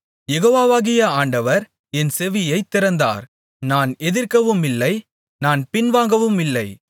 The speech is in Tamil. யெகோவாவாகிய ஆண்டவர் என் செவியைத் திறந்தார் நான் எதிர்க்கவுமில்லை நான் பின்வாங்கவுமில்லை